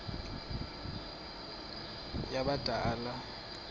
yimianelo yabadala yokaba